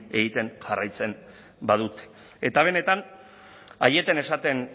egiten jarraitzen badute eta benetan aieten esaten